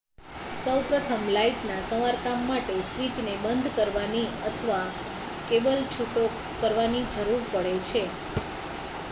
સૌપ્રથમ લાઈટના સમારકામ માટે સ્વિચને બંધ કરવાની અથવા કેબલ છૂટો કરવાની જરૂર પડે છે